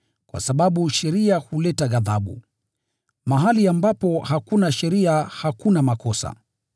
kwa sababu sheria huleta ghadhabu. Mahali ambapo hakuna sheria hakuna makosa.